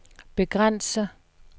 begrænse